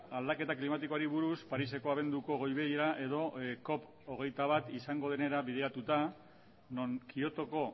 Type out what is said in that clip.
aldaketa klimatikoari buruz pariseko abenduko goi bilera edo cop hogeita bat izango denera bideratuta non kiotoko